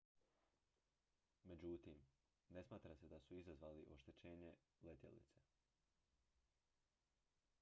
međutim ne smatra se da su izazvali oštećenje letjelice